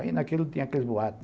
Aí naquilo tinha aqueles boatos.